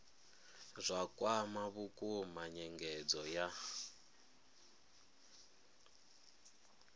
zwa kwama vhukuma nyengedzo ya